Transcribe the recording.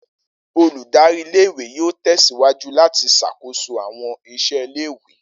Oludari ìle-ìwe yoo tẹsiwaju lati ṣakoso awọn iṣẹ ìle-ìwe.